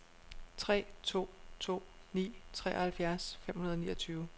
tre to to ni treoghalvfjerds fem hundrede og niogtyve